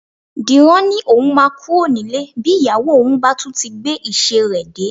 Dìran ni òun máa kúrò nílé bí ìyàwó òun bá tún ti gbé ìṣe rẹ dé